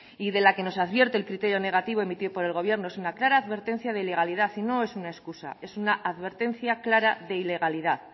y de la que nos advierte el criterio negativo emitido por el gobierno es una clara advertencia de ilegalidad y no es una excusa es una advertencia clara de ilegalidad